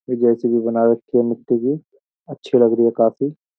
ये जैसी भी बना रखी है मिट्टी की अच्छी लग रही है काफी --